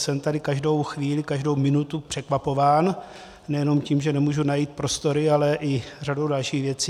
Jsem tady každou chvíli, každou minutu překvapován, nejenom tím, že nemůžu najít prostory, ale i řadou dalších věcí.